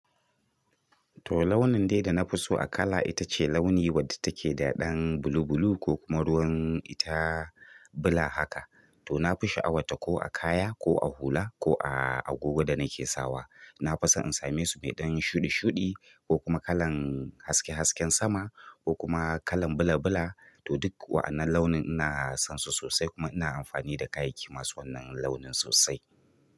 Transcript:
To launin dai da na fi so a kala ita ce launi wadda take da ɗan bulubulu ko kuma ruwan ita bula haka. To na fi sha'awarta ko a kaya ko a hula ko a agogo da nake sawa. Na fi son in same su mai ɗan shuɗi shuɗi ko kuma kalan haske haske sama ko kuma kalan bula bula to duk wa'annan launin ina son su sosai kuma ina amfani da kayayyaki masu wannan launin sosai.